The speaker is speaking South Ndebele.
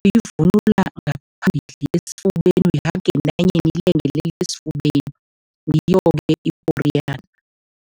Uyivunula ngaphambili esifubeni, la ngentanyeni ilengelele esifubeni, ngiyo-ke iporiyana.